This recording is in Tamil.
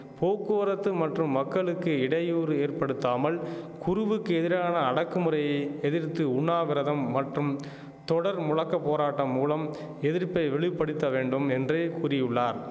போக்குவரத்து மற்றும் மக்களுக்கு இடையூறு ஏற்படுத்தாமல் குருவுக்கு எதிரான அடக்குமுறையை எதிர்த்து உண்ணாவிரதம் மற்றும் தொடர் முழக்க போராட்டம் மூலம் எதிர்ப்பை வெளி படுத்த வேண்டும் என்றே கூறியுள்ளார்